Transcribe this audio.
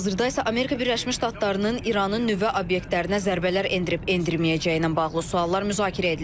Hazırda isə Amerika Birləşmiş Ştatlarının İranın nüvə obyektlərinə zərbələr endirib-endirməyəcəyinə bağlı suallar müzakirə edilir.